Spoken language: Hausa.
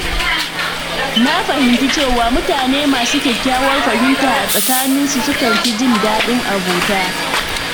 Na fahimci cewa mutane masu kyakkyawar fahimta a tsakaninsu sukan fi jin daɗin abota.